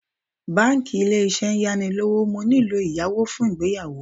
Báńkì Ilé-Iṣẹ́ ń yá ni lówó, mo nílò ìyàwó fún ìgbéyàwó mi.